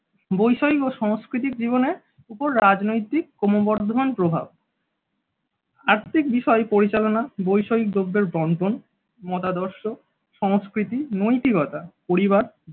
বই শৈব সংস্কৃতির জীবনের উপর রাজনৈতিক ক্রমবর্ধমান প্রভাব। আর্থিক বিষয়ে পরিচালনা বৈষয়িক দপ্তর বন্টন মতাদর্শ সংস্কৃতি নৈতিকতা পরিবার